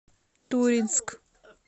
туринск